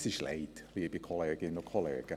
Es ist übel, liebe Kolleginnen und Kollegen.